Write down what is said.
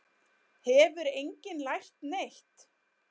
Hefur enginn lært neitt?